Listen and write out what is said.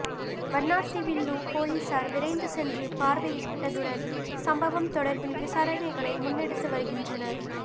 வண்ணாத்திவில்லு பொலிஸார் விரைந்து சென்று பார்வையிட்டதுடன் சம்பவம் தொடர்பில் விசாரணைகளை முன்னெடுத்து வருகின்றனர்